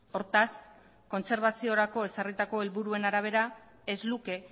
hortaz kontserbaziorako ezarritako helburuen arabera ez luke